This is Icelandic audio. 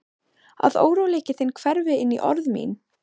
Að óróleiki þinn hverfi inní orð mín.